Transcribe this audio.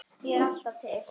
Ég er alltaf til.